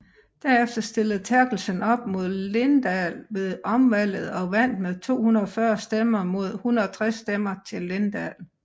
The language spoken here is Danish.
Derefter stillede Therkelsen op mod Linddahl ved omvalget og vandt med 240 stemmer mod 160 stemmer til Linddahl